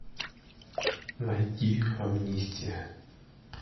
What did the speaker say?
найди амнистия